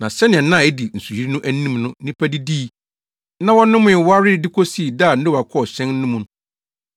Na sɛnea nna a edi nsuyiri no anim no nnipa didii, na wɔnomee, warewaree, de kosii da a Noa kɔɔ hyɛn no mu,